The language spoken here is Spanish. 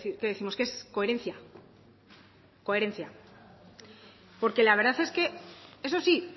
qué décimos que es coherencia coherencia porque la verdad es que eso sí